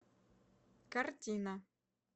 картина